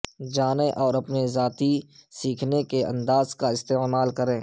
جانیں اور اپنے ذاتی سیکھنے کے انداز کا استعمال کریں